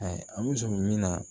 anbuso min na